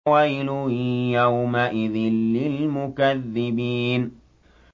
وَيْلٌ يَوْمَئِذٍ لِّلْمُكَذِّبِينَ